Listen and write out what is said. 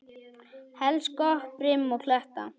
Helst gott brim og kletta.